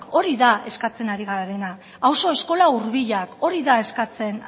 hori da eskatzen ari garena auzo eskola hurbilak hori da eskatzen